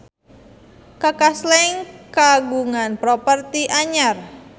Kaka Slank kagungan properti anyar